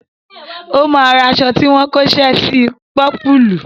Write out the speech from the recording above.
Ó máa ra aṣọ tí wọ́n kóṣẹ́ sí i pọ́pùùlù.